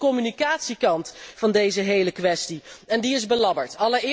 Maar er is ook nog de communicatiekant van deze hele kwestie en die is belabberd.